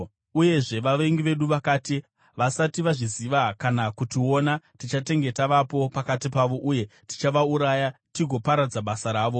Uyezve vavengi vedu vakati, “Vasati vazviziva kana kutiona, tichatenge tavapo pakati pavo uye tichavauraya tigoparadza basa ravo.”